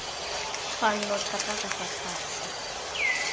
tshwanno thata ka fa tlase